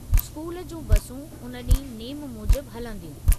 School जूं बसूं उन ॾींहुं नेमु मूजिब हलंदियूं।